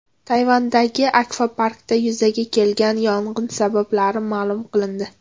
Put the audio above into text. Tayvandagi akvaparkda yuzaga kelgan yong‘in sabablari ma’lum qilindi.